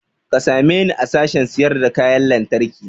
Ka same ni a sashen sayar da kayan lantarki